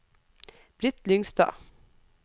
Britt Lyngstad